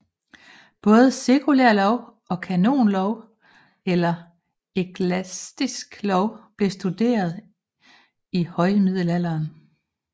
Både sekulær lov og kanonlov eller eklastisk lov blev studeret i højmiddelalderen